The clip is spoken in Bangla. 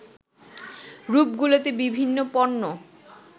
রূপগুলোতে বিভিন্ন পণ্য